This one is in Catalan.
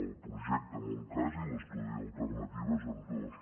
el projecte en un cas i l’estudi d’alternatives en dos